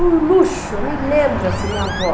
Um luxo, eu me lembro assim, minha avó.